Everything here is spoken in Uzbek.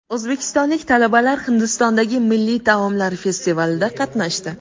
O‘zbekistonlik talabalar Hindistondagi milliy taomlar festivalida qatnashdi.